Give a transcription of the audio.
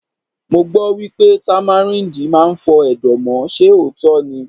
Mo gbọ́ wípé Támáríndì máa ń fọ Ẹ̀dọ̀ mọ́, ṣe òótọ́ ni?